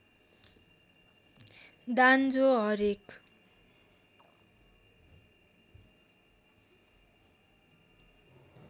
दान जो हरेक